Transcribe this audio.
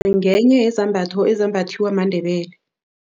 Ngenye yezambatho ezembathiwa maNdebele.